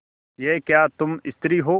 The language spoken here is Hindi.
यह क्या तुम स्त्री हो